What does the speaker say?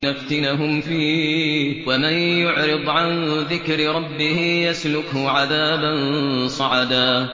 لِّنَفْتِنَهُمْ فِيهِ ۚ وَمَن يُعْرِضْ عَن ذِكْرِ رَبِّهِ يَسْلُكْهُ عَذَابًا صَعَدًا